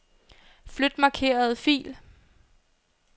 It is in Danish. Flyt markerede fil.